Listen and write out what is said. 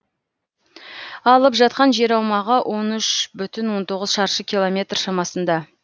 алып жатқан жер аумағы он үш бүтін он тоғыз шаршы километр шамасында